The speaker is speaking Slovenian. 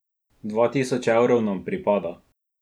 Dva tisoč evrov nam pripada ...